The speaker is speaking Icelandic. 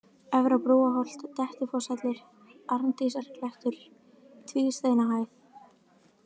Efra-Brúarholt, Dettifosshellir, Arndísarklettur, Tvísteinahæð